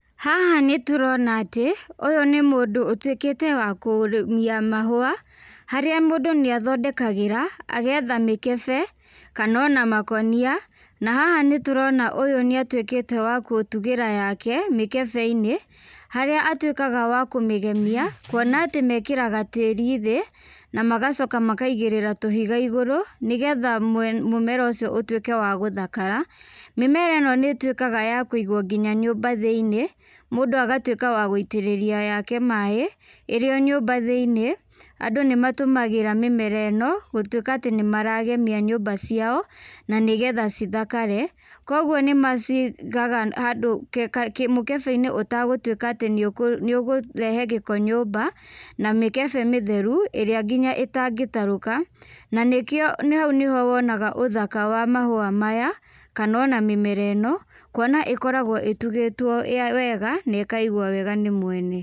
Haha nĩtũrona atĩ, ũyũ nĩ mũndũ ũtuĩkĩte wa kũrĩmia mahua, harĩa mũndũ nĩathondekagĩra, agethe mĩkebe, kana ona makonia, na haha nĩtũrona ũyũ nĩatuĩkĩte wa kũtugĩra yake, mĩkebeinĩ, harĩa atuĩkaga wa kũmĩgemia, kuona atĩ mekĩraga tiri thĩ, namagacoka makaigĩrĩra tũhiga igũrũ, nĩgetha mũmera ũcio ũtuĩke a gũthakara, mĩmera ĩno nĩituĩkaga ya kũigwo nginya nyumba thĩinĩ, mũndũ agatuĩka wa guitĩrĩria yake maĩ, ĩrĩ o nyũmba thĩinĩ, andũ nĩmatũmagĩra mĩmera ĩno gutuĩka atĩ nĩmaragemia nyũmba ciao, na nĩgetha cithakare, koguo nĩmacigaga handũ kĩ ka kĩmũkebeinĩ ũtagũtuika nĩũkũ nĩũkũrehe gĩko nyũmba, na mĩkebe mĩtheru, ĩrĩa nginya ĩtangĩtaruka, na nĩkĩo nĩ hau nĩho wonaga ũthaka wa mahũa maya, kana ona mĩmera ĩno, kuona ĩkoragwo itugĩtwo wega, na ĩkaigwo wega nĩ mwene.